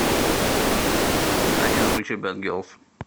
афина включи бэд гелс